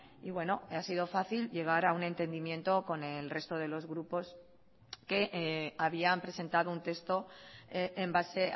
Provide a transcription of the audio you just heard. y bueno ha sido fácil llegar a un entendimiento con el resto de los grupos que habían presentado un texto en base